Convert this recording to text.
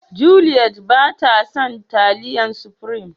Juliet ba ta son taliyan supirim.